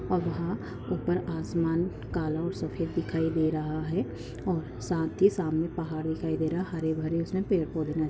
और वहा ऊपर आसमान काला और सफेद दिखाई दे रहा है और साथ ही सामने पहाड़ दिखाई दे रहा हरे भरे पेड़ उसमे पौधे नज़र--